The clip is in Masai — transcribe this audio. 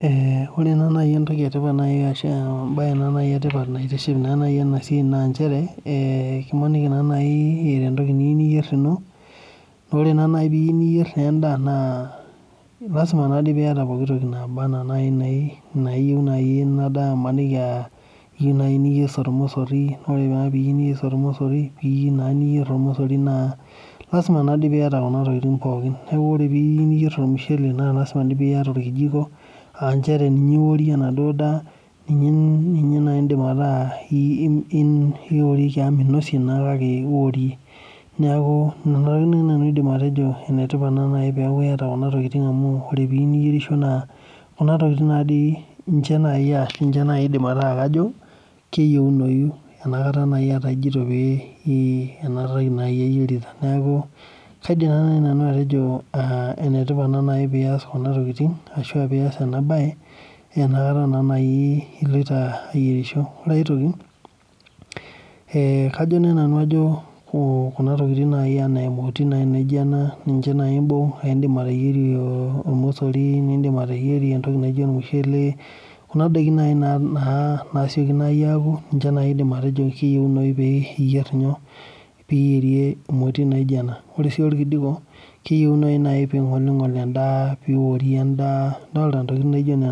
Ore naa naji entoki etipat ashu embae etipat naa naji naitiship ena siai naa nchere emaniki naa naji eeta entoki niyieu niyier ino ,naa ore naa naji opee iyieu niyir endaa naa lasima naa pee iyeta pooki toki naba naaji ena enayieu ina daa amu maniki aa iyieu niyer ormosori ,naa ore pee iyieu niyier ormosori naa lasima naadi neeku niyata kuna tokiting pookin. Neeku ore pee iyieu niyier ormushele naa lasima pee iyata orkijiko indim ataasa ninye naaji oworie enaduo daa amu minosie naa kake oworie. Neeku Nena tokiting naaji nanu aidim atejo nenipat pee iyata nena tokiting amu ore peeku iyieu niyerisho naa Kuna tokiting naaji aidim ataa kajo keyieunoyu enakata naaji etaa enatoki ijoniyierita. Neeku kaidim naaji nanu atejo enetipata naa pee iyas kuna tokiting ashua pee iyas ena bae enakata naa iloito ayierishore. Ore aitoki ,kajo naaji nanu kuna tokiting ena emoti naijo ena ninche naaji imbung nindim ateyierie ormosori ,nindim ateyierie ormushele kuna daiki naa naaji nasieku aaku ninche naaji aidim atejo keyieunoyu pee iyierie emoti naijo ena .Ore sii orkijiko keyieunoyu naaji pee ingolingol endaa pee iworie endaa ntokiting naijo nena .